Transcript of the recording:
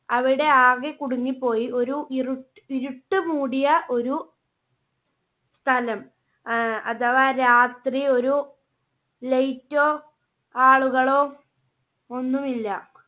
അവിടെ ആകെ കുടുങ്ങി പോയി ഒരു ഇരു~ഇരുട്ട് മൂടിയ ഒരു സ്ഥലം. ആഹ് അഥവാ രാത്രി ഒരു Light ഓ ആളുകളോ ഒന്നും ഇല്ല.